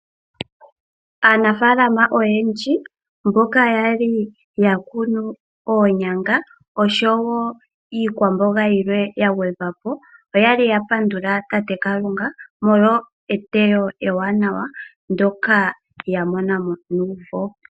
Aanafaalama oyendji mboka yali ya kunu oonyanga osho wo iikwamboga yilwe ya gwedhwapo, oyali ya pandula Tate Kalunga molwa eteyo ewanawa ndyoka ya mona mo nuumvo.